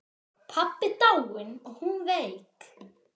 Pabbi dáinn og hún veik.